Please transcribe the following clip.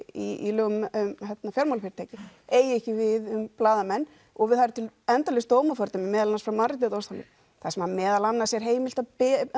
í lögum um fjármálafyrirtæki eigi ekki við um blaðamann og það eru til endalaus dómafordæmi meðal annars úr mannréttindadómstól þar sem meðal annars er heimilt að